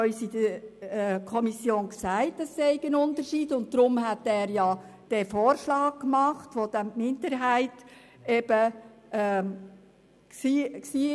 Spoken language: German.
Käser erklärte in der Kommissionssitzung, dass es Unterschiede gibt, weshalb er diesen Vorschlag der Minderheit machte.